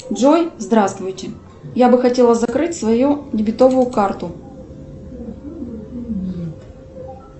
джой здравствуйте я бы хотела закрыть свою дебетовую карту